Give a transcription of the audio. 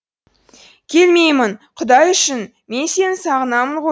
келмеймін құдай үшін мен сені сағынамын ғой